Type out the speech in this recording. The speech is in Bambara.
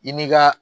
I ni ka